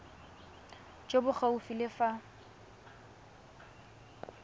jo bo gaufi le fa